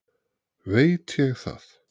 Veit ég það.